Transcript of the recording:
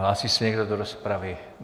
Hlásí se někdo do rozpravy?